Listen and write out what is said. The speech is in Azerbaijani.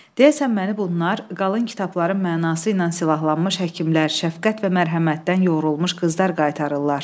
Deyəsən məni bunlar qalın kitabların mənası ilə silahlanmış həkimlər, şəfqət və mərhəmətdən yoğrulmuş qızlar qaytarırlar.